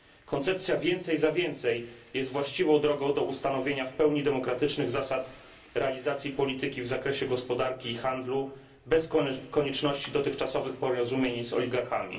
Koncepcja więcej za więcej jest właściwą drogą do ustanowienia w pełni demokratycznych zasad realizacji polityki w zakresie gospodarki i handlu bez konieczności dotychczasowych porozumień z oligarchami.